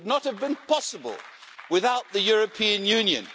It would not have been possible without the European Union.